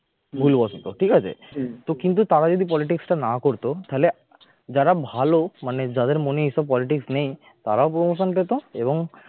ভুলবশত ঠিক আছে কিন্তু তারা যদি politics টা না করতো তাহলে যারা ভালো মানে যাদের মনে এসব politics নেই তারাও promotion পেতো এবং